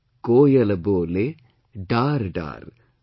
Koyal bole, daar daar,